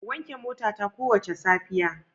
Wanke motata kowace safiya.